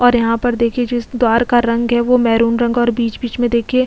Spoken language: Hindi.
और यहा पर देखिये जो इस द्वारका रंग है वो मैहरून रंग और बीच बीच में देखिए --